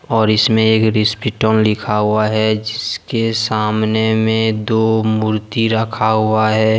और इसमे एक रिसीपीटोन लिखा हुआ है। जिसके सामने मे दो मूर्ति रखा हुआ है।